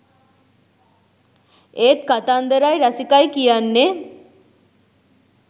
ඒත් කතන්දරයි රසිකයි කියන්නෙ